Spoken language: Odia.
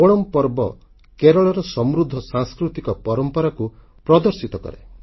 ଓଣାମ୍ ପର୍ବ କେରଳର ସମୃଦ୍ଧ ସାଂସ୍କୃତିକ ପରମ୍ପରାକୁ ପ୍ରଦର୍ଶିତ କରେ